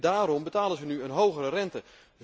Daarom betalen zij nu een hogere rente.